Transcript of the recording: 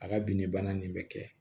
A ka binni bana nin be kɛ